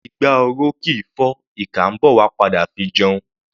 Igbá oró kì í fọ́; ìkà ḿbọ̀ wá padà fi jẹun.